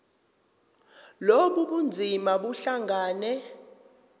lobu bunzima buhlangane